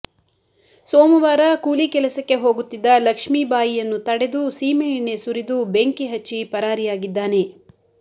ಸೋಮವಾರ ಕೂಲಿ ಕೆಲಸಕ್ಕೆ ಹೋಗುತ್ತಿದ್ದ ಲಕ್ಷ್ಮಿಬಾಯಿಯನ್ನು ತಡೆದು ಸೀಮೆ ಎಣ್ಣೆ ಸುರಿದು ಬೆಂಕಿ ಹಚ್ಚಿ ಪರಾರಿಯಾಗಿದ್ದಾನೆ